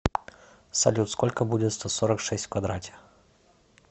салют сколько будет сто сорок шесть в квадрате